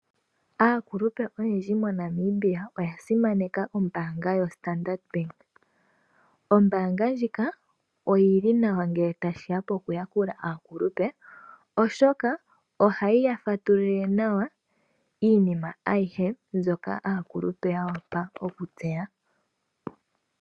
Aakulupe oyendji mo Namibia oyasimana ombanga yo Standard Bank, ombanga ndjika oyili nawa ngele tashiya po kuyakula aakulupe oshoka ohayi yafatululile nawa iinima ayihe mbyoka aakulupe yawapa okutseya.